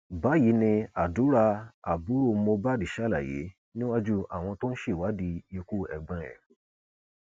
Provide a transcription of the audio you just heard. báyìí ni àdúrà àbúrò mohbad ṣàlàyé níwájú àwọn tó ń ṣèwádìí ikú ẹgbọn ẹ